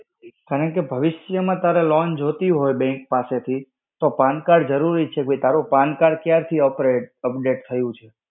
કારણકે ભવિષ્ય માં તારે loan જોતી હોય bank પાસે થી, તો pan card જરૂરી જ છે ભૈ કે તારો pan card ક્યારથી operate update થયું છે?